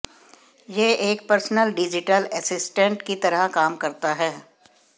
यह एक personal digital assistant की तरह काम करता है